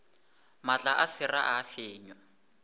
maatla a sera a fenywa